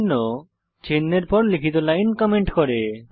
চিহ্ন চিহ্ন এর পর লিখিতি লাইন কমেন্ট করে